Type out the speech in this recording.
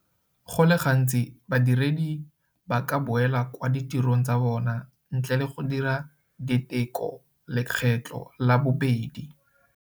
Go le gantsi badiredi ba ka boela kwa ditirong tsa bona ntle le go dira diteko lekgetlo la bobedi.